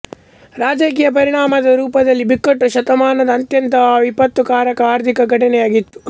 ರಾಜಕೀಯ ಪರಿಣಾಮದ ರೂಪದಲ್ಲಿ ಬಿಕ್ಕಟ್ಟು ಶತಮಾನದ ಅತ್ಯಂತ ವಿಪತ್ತುಕಾರಕ ಆರ್ಥಿಕ ಘಟನೆಯಾಗಿತ್ತು